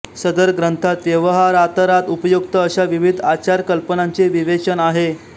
सदर ग्रंथात व्यवहारातरात उपयोक्त अशा विविध आचार कल्पनांचे विवेचन आहे